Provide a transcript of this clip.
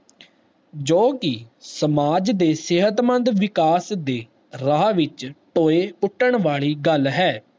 ਨੋ ਜਵਾਨ ਨੂੰ ਕੁਰਾਹੇ ਪਾਉਣ ਵਾਲੇ ਪੜਕਾਓ ਵਿਚਾਰ ਦੇ ਸ਼ਿੱਕਾਰ ਬਣਾਉਂਦਾ ਹੈ ਜੋ ਕਿ ਸਮਾਜ ਦੇ ਸਿਹਤਮੰਦ ਵਿਕਾਸ ਦੇ ਰਾਹ ਵਿਚ